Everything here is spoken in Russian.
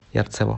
ярцево